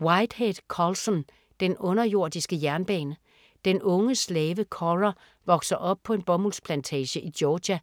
Whitehead, Colson: Den underjordiske jernbane Den unge slave Cora vokser op på en bomuldsplantage i Georgia